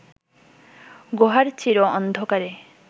গুহার চির অন্ধকারে